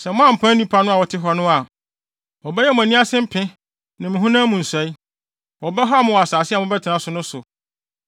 “Sɛ moampam nnipa a wɔte hɔ no a, wɔbɛyɛ mo ani ase mpe ne mo honam mu nsɔe. Wɔbɛhaw mo wɔ asase a mobɛtena so no so.